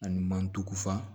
Ani mantufa